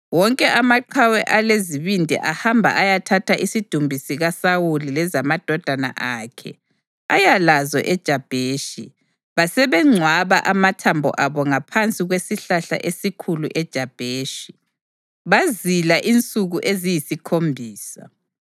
wonke amaqhawe alezibindi ahamba ayathatha isidumbu sikaSawuli lezamadodana akhe aya lazo eJabheshi. Basebengcwaba amathambo abo ngaphansi kwesihlahla esikhulu eJabheshi, bazila insuku eziyisikhombisa.